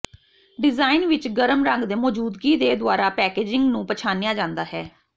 design ਵਿੱਚ ਗਰਮ ਰੰਗ ਦੇ ਮੌਜੂਦਗੀ ਦੇ ਦੁਆਰਾ ਪੈਕੇਜਿੰਗ ਨੂੰ ਪਛਾਣਿਆ ਜਾਂਦਾ ਹੈ